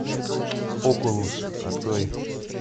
окулус открой